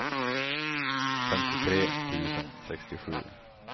femtiotre tusen sextiosju